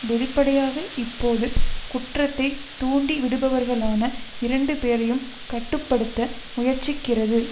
வெளிப்படையாக இப்போது குற்றத்தைத் தூண்டிவிடுபவர்களான இரண்டு பேரையும் கட்டு படுத்த முயற்சிக்கிறது